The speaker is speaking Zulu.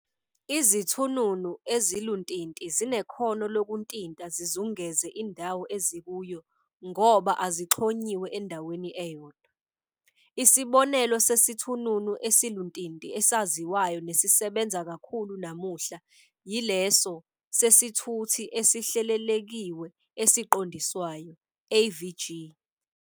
IziThununu eziluntinti zinekhono lokuntinta zizungeze indawo ezikuyo ngoba azixhonyiwe endaweni eyodwa. Isibonelo sesithununu esiluntinti esaziwayo nesisebenza kakhulu namuhla yileso "sesithuthi esihlelelekiwe esiqondiswayo", AVG.